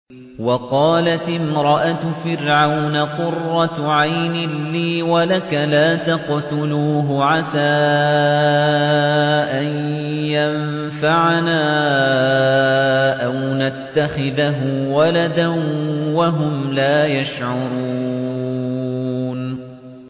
وَقَالَتِ امْرَأَتُ فِرْعَوْنَ قُرَّتُ عَيْنٍ لِّي وَلَكَ ۖ لَا تَقْتُلُوهُ عَسَىٰ أَن يَنفَعَنَا أَوْ نَتَّخِذَهُ وَلَدًا وَهُمْ لَا يَشْعُرُونَ